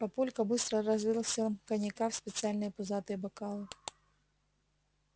папулька быстро разлил всем коньяка в специальные пузатые бокалы